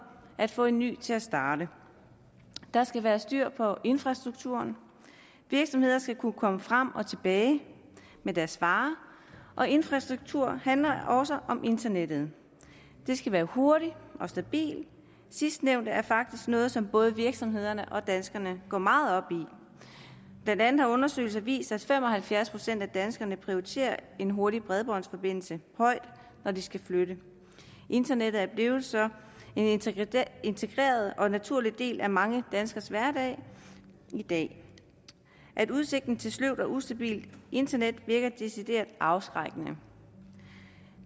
at få en ny til at starte der skal være styr på infrastrukturen virksomheder skal kunne komme frem og tilbage med deres varer og infrastruktur handler også om internettet det skal være hurtigt og stabilt sidstnævnte er faktisk noget som både virksomhederne og danskerne går meget op i blandt andet har undersøgelser vist at fem og halvfjerds procent af danskerne prioriterer en hurtig bredbåndsforbindelse højt når de skal flytte internettet er blevet en så integreret og naturlig del af mange danskeres hverdag i dag at udsigten til sløvt og ustabilt internet virker decideret afskrækkende